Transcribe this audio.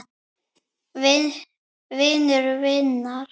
Vinur vinar?